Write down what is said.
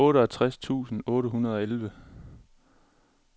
otteogtres tusind otte hundrede og elleve